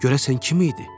Görəsən kim idi?